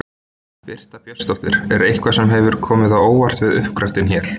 Birta Björnsdóttir: Er eitthvað sem hefur komið á óvart við uppgröftinn hér?